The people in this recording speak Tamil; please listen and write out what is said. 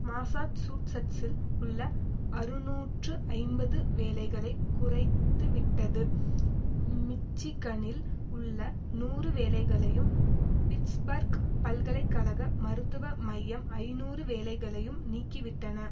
மாசாச்சூசட்ஸில் உள்ள அறுநூற்று ஐம்பது வேலைகளை குறைத்துவிட்டது மிச்சிகனில் உள்ள நூறு வேலைகளையும் பிட்ஸ்பர்க் பல்கலை கழக மருத்துவ மையம் ஐநூறு வேலைகளையும் நீக்கிவிட்டன